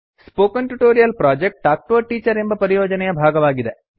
spoken tutorial project talk to a teacher ಎಂಬ ಪರಿಯೋಜನೆಯ ಭಾಗವಾಗಿದೆ